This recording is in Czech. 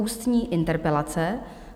Ústní interpelace